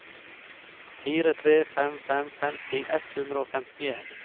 fire tre fem fem femti ett hundre og femtien